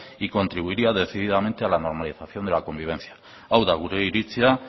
y contribuiría decididamente a la normalización de la convivencia hau da gure iritzia